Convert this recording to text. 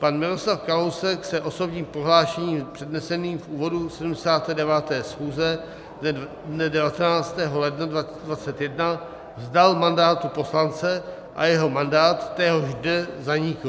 Pan Miroslav Kalousek se osobním prohlášením předneseným v úvodu 79. schůze dne 19. ledna 2021 vzdal mandátu poslance a jeho mandát téhož dne zanikl.